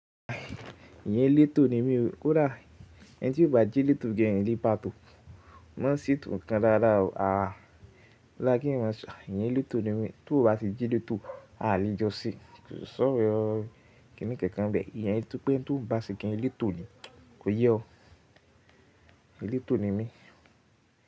Èèyàn elétò ni mí o. Kódà ẹ́ni tí ó bá jẹ elétò gan in le ba tò, má setó nkan dáadáa o. Àá odá kìí èèyàn, èèyàn elétò ni mí. Tó bá ti jẹ elétò, a lè jọ se. Ko sí ọrọ, kí ni kankan ń bẹ̀. Ìyẹn túpé ẹni tón bá se gan elétò ni. Kò yé ọ. Elétò ni mí.